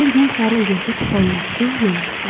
Bir gün Sarı Özəkdə tufan qopdu, yel əsdi.